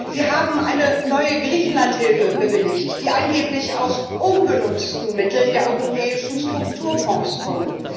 Wir haben eine neue Griechenlandhilfe bewilligt, die angeblich aus ungenutzten Mitteln der Europäischen Strukturfonds kommt.